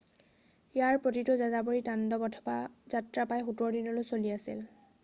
ইয়াৰ প্ৰতিটো যাযাবৰী তাণ্ডৱ অথবা যাত্ৰা প্ৰায় 17 দিনলৈ চলি আছিল